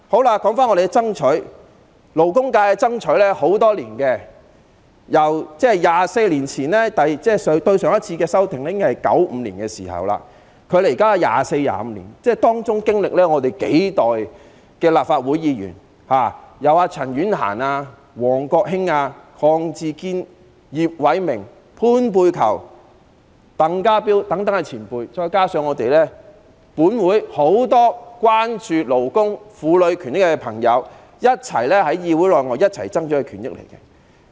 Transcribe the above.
勞工界多年來爭取延長產假，《僱傭條例》上次的修訂是在1995年，距今已經24、25年，當中經歷數代立法會議員，由陳婉嫻、王國興、鄺志堅、葉偉明、潘佩璆、鄧家彪等前輩，再加上本會很多關注勞工、婦女權益的朋友，在議會內外一起爭取權益。